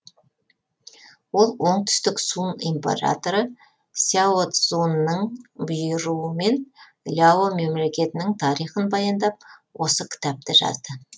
ол оңтүстік сун императоры сяо цзунның бұйыруымен ляо мемлекетінің тарихын баяндап осы кітапты жазды